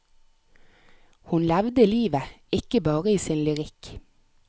Hun levde livet, ikke bare i sin lyrikk.